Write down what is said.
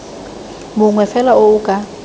mongwe fela o o ka